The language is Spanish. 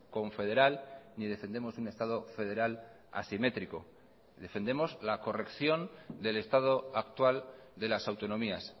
confederal ni defendemos un estado federal asimétrico defendemos la corrección del estado actual de las autonomías